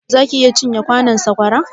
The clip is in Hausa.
zaka iya cin ye kwanon saƙwara?